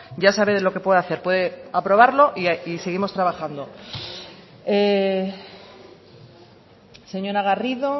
ya sabe lo que puede hacer puede aprobarlo y seguimos trabajando señora garrido